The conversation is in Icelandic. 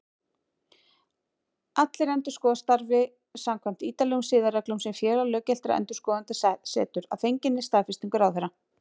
Allir endurskoðendur starfi samkvæmt ítarlegum siðareglum sem Félag löggiltra endurskoðenda setur, að fenginni staðfestingu ráðherra.